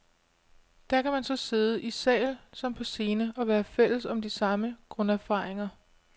Der kan man så sidde, i sal som på scene, og være fælles om de samme grunderfaringer.